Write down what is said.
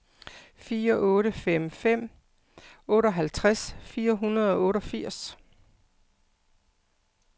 fire otte fem fem otteoghalvtreds fire hundrede og otteogfirs